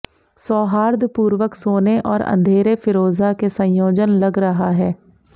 सौहार्दपूर्वक सोने और अंधेरे फ़िरोज़ा के संयोजन लग रहा है